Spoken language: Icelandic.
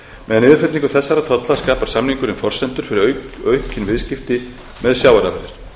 með niðurfellingu þessaratolla skapar samningurinn forsendur fyrir aukin viðskipti með sjávarafurðir